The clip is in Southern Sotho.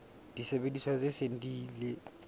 disebediswa tse seng di ile